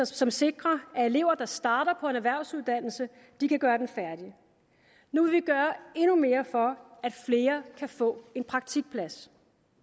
som sikrer at elever der starter på en erhvervsuddannelse kan gøre den færdig nu vil vi gøre endnu mere for at flere kan få en praktikplads